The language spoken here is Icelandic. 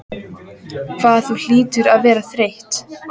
Hvað þú hlýtur að vera þreytt.